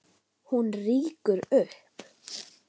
Hún rýkur upp.